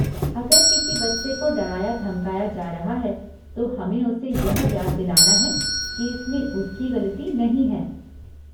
अगर किसी बच्चे को डराया धमकाया जा रहा है तो हमें उसे यह याद दिलाना है कि इसमें उसकी गलती नहीं है।